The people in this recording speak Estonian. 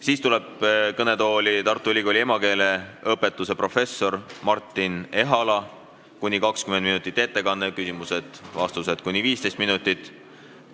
Siis tuleb kõnetooli Tartu Ülikooli emakeeleõpetuse professor Martin Ehala, kellel on kuni 20-minutine ettekanne ja küsimused-vastused kuni 15 minutit.